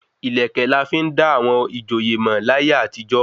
Ìlẹ̀kẹ̀ la fi n da àwọn ìjòyè mọ̀ láyé àtijọ́